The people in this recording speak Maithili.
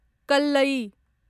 कल्लयी